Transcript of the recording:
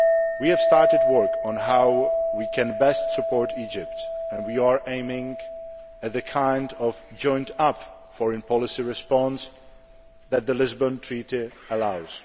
We have started work on how we can best support Egypt and we are aiming at the kind of joined up foreign policy response that the Treaty of Lisbon allows.